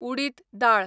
उडीत दाळ